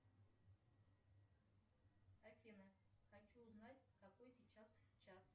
афина хочу узнать какой сейчас час